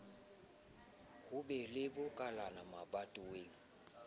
ho be le makalana mabatoweng